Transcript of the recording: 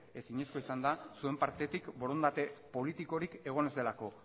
ezinezkoa izan da zuen partetik borondate politikorik egon ez delako